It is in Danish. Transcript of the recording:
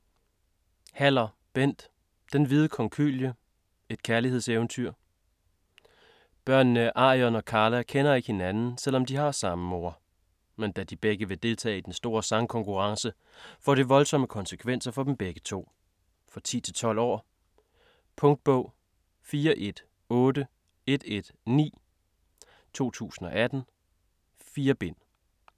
Haller, Bent: Den hvide konkylie: et kærlighedseventyr Børnene Arion og Carla kender ikke hinanden, selv om de har samme mor. Men da de begge vil deltage i den store sangkonkurrence får det voldsomme konsekvenser for dem begge to. For 10-12 år. Punktbog 418119 2018. 4 bind.